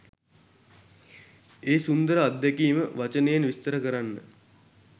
ඒ සුන්දර අත්දැකීම වචනයෙන් විස්තර කරන්න